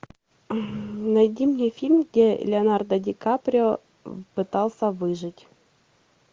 найди мне фильм где леонардо ди каприо пытался выжить